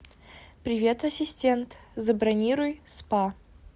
привет ассистент забронируй спа